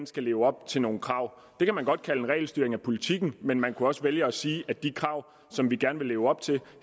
skal leve op til nogle krav det kan man godt kalde en regelstyring af politikken men man kunne også vælge at sige at de krav som vi gerne vil leve op til